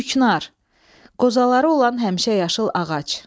Küknar, qozaları olan həmişəyaşıl ağac.